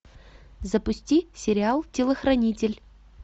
запусти сериал телохранитель